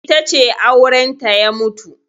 Ita ce aurenta ya mutu.